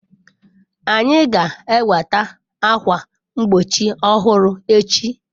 Anyị ga-enweta ákwà mgbochi ọhụrụ echi.